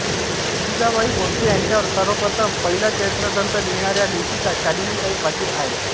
जिजाबाई भोसले यांच्यावर सर्वप्रथम पहिला चरित्र ग्रंथ लिहणाऱ्या लेखिका शालिनीताई पाटील आहेत